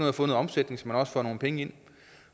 at få nogen omsætning så man også får nogle penge ind